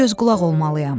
Bura göz-qulaq olmalıyam.